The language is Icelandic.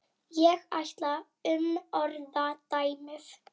Ég ætla að umorða dæmið.